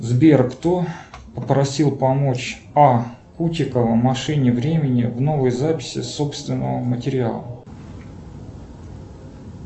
сбер кто попросил помочь а кутикова машине времени в новой записи собственного материала